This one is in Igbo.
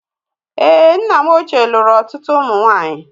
Èé, nna m ochie lụrụ ọtụtụ ụmụ nwaanyị.